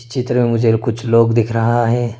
चित्र मुझे कुछ लोग दिख रहा है।